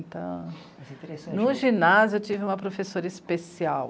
No ginásio eu tive uma professora especial,